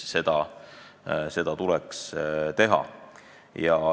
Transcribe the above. Seda tuleks teha.